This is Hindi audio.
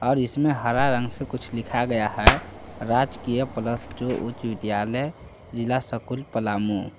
और इसमें हरा रंग से कुछ लिखा गया है राजकीय प्लस टू उच्च विद्यालय जिला स्कूल पलामू--